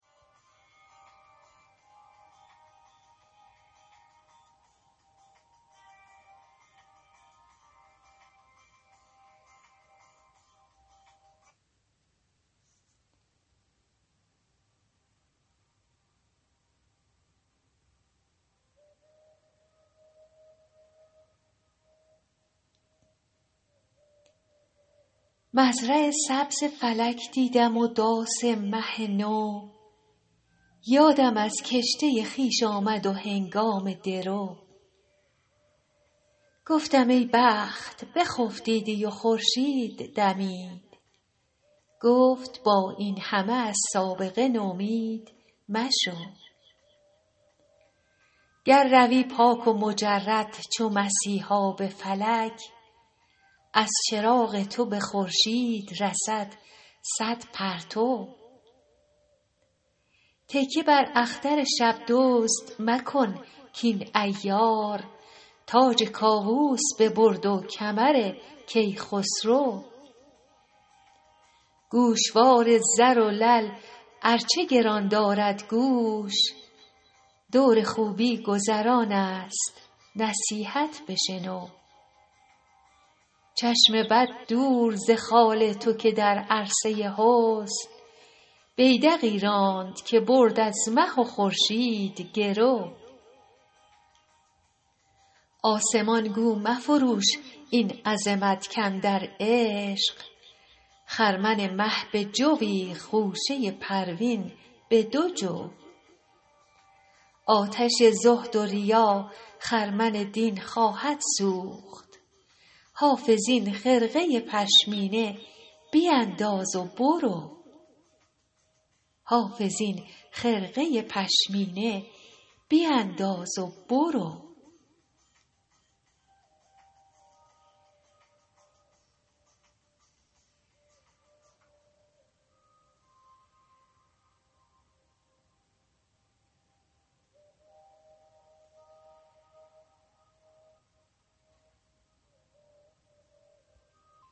مزرع سبز فلک دیدم و داس مه نو یادم از کشته خویش آمد و هنگام درو گفتم ای بخت بخفتیدی و خورشید دمید گفت با این همه از سابقه نومید مشو گر روی پاک و مجرد چو مسیحا به فلک از چراغ تو به خورشید رسد صد پرتو تکیه بر اختر شب دزد مکن کاین عیار تاج کاووس ببرد و کمر کیخسرو گوشوار زر و لعل ار چه گران دارد گوش دور خوبی گذران است نصیحت بشنو چشم بد دور ز خال تو که در عرصه حسن بیدقی راند که برد از مه و خورشید گرو آسمان گو مفروش این عظمت کاندر عشق خرمن مه به جوی خوشه پروین به دو جو آتش زهد و ریا خرمن دین خواهد سوخت حافظ این خرقه پشمینه بینداز و برو